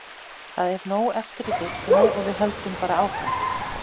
Það er nóg eftir í deildinni og við höldum bara áfram.